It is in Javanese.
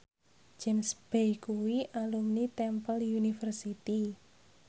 James Bay kuwi alumni Temple University